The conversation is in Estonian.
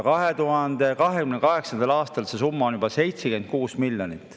2028. aastal see summa on juba 76 miljonit.